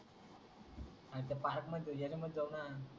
अरे ते पार्क मध्ये येना मग जाऊना